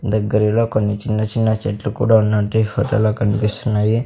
దగ్గరిలో కొన్ని చిన్న చిన్న చెట్లు కూడా ఉన్నట్టు ఈ ఫొటో లో కన్పిస్తున్నాయి.